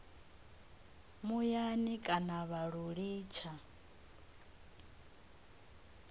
muyani kana vha lu litsha